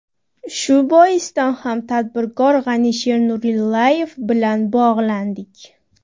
Shu boisdan ham tadbirkor G‘anisher Nurillayev bilan bog‘landik.